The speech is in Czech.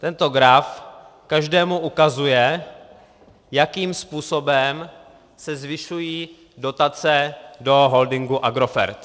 Tento graf každému ukazuje, jakým způsobem se zvyšují dotace do holdingu Agrofert.